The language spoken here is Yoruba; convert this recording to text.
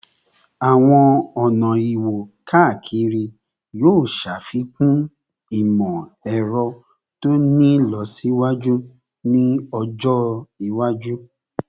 Awọn ọna iwo-kakiri yoo ṣafikun imọ-ẹrọ to ti ni ilọsiwaju ni ọjọ iwaju